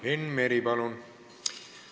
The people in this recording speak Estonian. Enn Meri, palun!